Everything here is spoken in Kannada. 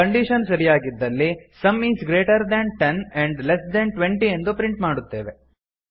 ಕಂಡೀಶನ್ ಸರಿಯಾಗಿದ್ದಲ್ಲಿ sum is greater than ten and less than twenty ಎಂದು ಪ್ರಿಂಟ್ ಮಾಡುತ್ತೇವೆ